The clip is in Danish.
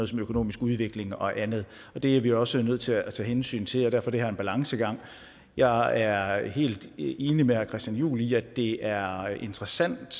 som økonomisk udvikling og andet og det er vi også nødt til at tage hensyn til og derfor er det her en balancegang jeg er er helt enig med herre christian juhl i at det er interessant